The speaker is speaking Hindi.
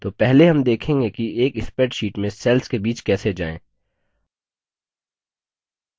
तो पहले हम देखेंगे कि एक spreadsheet में cell के बीच कैसे जाएँ